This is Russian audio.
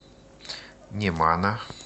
немана